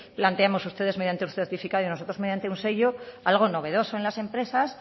planteemos ustedes mediante el certificado y nosotros mediante un sello algo novedoso en las empresas